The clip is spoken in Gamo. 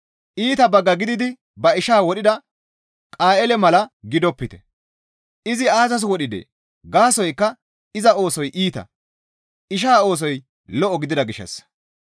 Iita bagga gididi ba ishaa wodhida Qayeele mala gidopite; izi aazas wodhidee? Gaasoykka iza oosoy iita; ishaa oosoy lo7o gidida gishshassa.